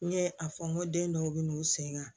N ye a fɔ n ko den dɔw bɛ n'u sen ka